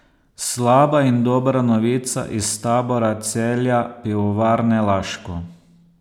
Slaba in dobra novica iz tabora Celja Pivovarne Laško.